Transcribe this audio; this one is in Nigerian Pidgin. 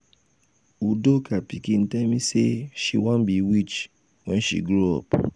udoka pikin tell me say she wan be witch wen she grow up.